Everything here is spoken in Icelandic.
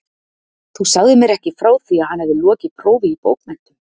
Þú sagðir mér ekki frá því, að hann hefði lokið prófi í bókmenntum